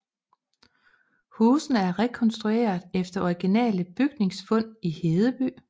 Husene er rekonstrueret efter originale bygningsfund i Hedeby